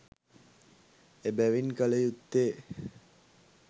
එබැවින් කළ යුත්තේ